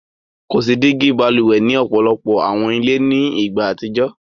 Ko si digi bálúwè ni ọpọlọpọ̀ awọn ilẹ̀ ni igba atijọ.